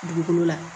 Dugukolo la